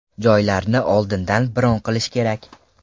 Joylarni oldindan bron qilish kerak.